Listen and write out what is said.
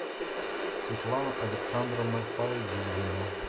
светлана александровна файзулина